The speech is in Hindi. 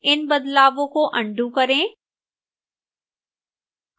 इन बदलावों को अन्डू करें